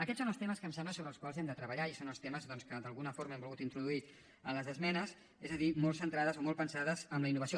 aquests són els temes em sembla sobre els quals hem de treballar i són els temes doncs que d’alguna forma he volgut introduir en les esmenes és a dir molt centrades o molt pensades en la innovació